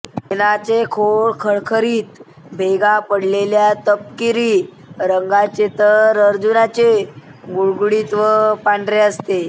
ऐनाचे खोड खरखरीत भेगा पडलेले व तपकिरी रंगाचे तर अर्जुनाचे गुळगुळीत व पांढरे असते